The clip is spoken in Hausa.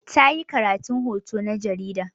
Ta yi karatun hoto na jarida.